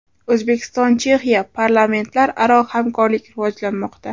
O‘zbekiston – Chexiya: parlamentlararo hamkorlik rivojlanmoqda.